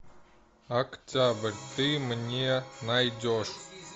октябрь ты мне найдешь